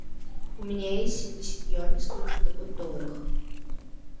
у меня есть семьдесят юаней сколько это будет в долларах